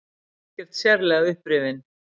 Ekkert sérlega upprifinn.